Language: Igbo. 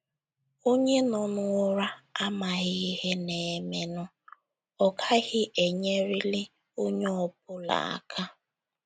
Onye nọ n’ụra amaghị ihe na - emenụ, ọ gaghị enyeliri onye ọ bụla aka.